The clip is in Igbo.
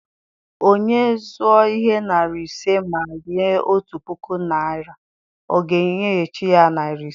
Onye zụọ ihe narị ise ma nye otu puku naịra, a ga-enyeghachi ya narị ise.